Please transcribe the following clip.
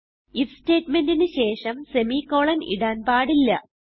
if statementന് ശേഷം semicolon ഇടാൻ പാടില്ല